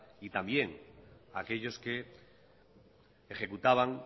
y también aquellos que ejecutaban